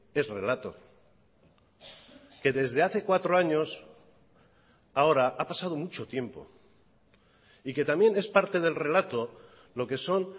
es relato que desde hace cuatro años a ahora ha pasado mucho tiempo y que también es parte del relato lo que son